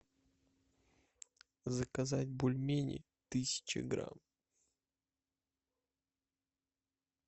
заказать бульмени тысяча грамм